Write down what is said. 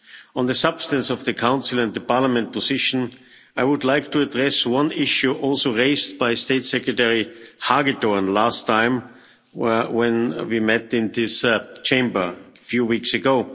On the substance of the Council and the Parliament position, I would like to address one issue also raised by State Secretary Hagedorn last time when we met in this Chamber few weeks ago.